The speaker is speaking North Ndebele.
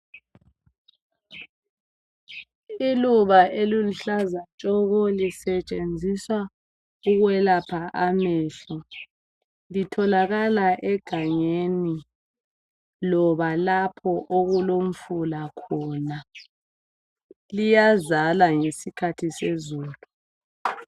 Iluba eliluhlaza tshoko lisetshenziswa ukwelapha amehlo, litholakala egangeni loba lapho okulomfula khona njalo liyazala ngesikhathi sezulu.